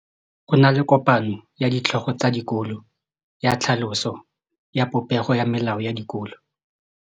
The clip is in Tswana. Go na le kopanô ya ditlhogo tsa dikolo ya tlhaloso ya popêgô ya melao ya dikolo.